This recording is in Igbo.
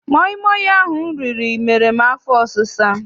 Maịmaị ahụ m riri mere m afọ ọsisa.